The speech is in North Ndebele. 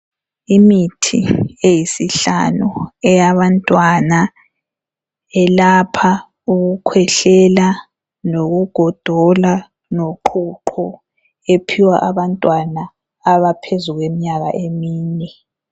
Imithi eyisihlanu eyabantwana elapha ukukhwehlela, lokugodola, loqhuqho , ephiwa abantwana abaphezu kweminyaka emine..